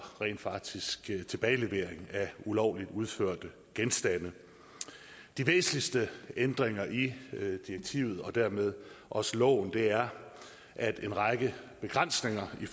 rent faktisk at sikre tilbagelevering af ulovligt udførte af genstande de væsentligste ændringer i direktivet og dermed også loven er at en række begrænsninger i